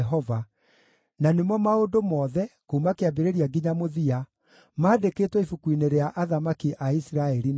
na nĩmo maũndũ mothe, kuuma kĩambĩrĩria nginya mũthia, maandĩkĩtwo ibuku-inĩ rĩa athamaki a Isiraeli na a Juda.